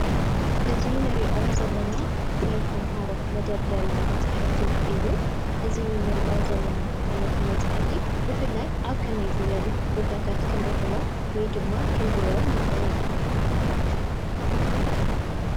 አዚ ንርኦ ዘለና ናይ ተምሃሮ መደርደሪ መፃሕፍቲ እዩ። እዚ አኒርኦ ዘለና ዓይነት መፃሓፍቲ ብፍላይ ኣብ ከመይ ዝበሉ ክንረኽቦ ወይ ድማ ክንሪኦ ነኽእል።